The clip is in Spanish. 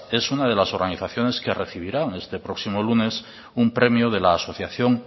es una de las organizaciones que recibirán este próximo lunes un premio de la asociación